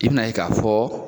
I bɛna ye k'a fɔ